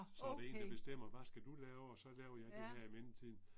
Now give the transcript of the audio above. Så er der en der bestemmer hvad skal du lave og så laver jeg det her i mellemtiden